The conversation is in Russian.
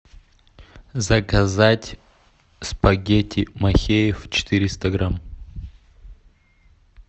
заказать спагетти махеев четыреста грамм